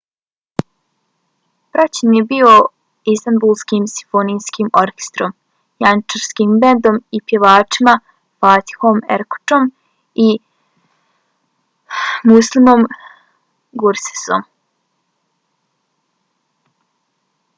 praćen je bio istanbulskim simfonijskim orkestrom janjičarskim bendom i pjevačima fatihom erkoçom i müslümom gürsesom